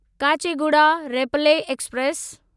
Kacheguda Repalle express